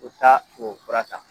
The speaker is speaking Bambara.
U t'a o fura ta